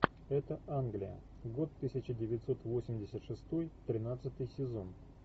это англия год тысяча девятьсот восемьдесят шестой тринадцатый сезон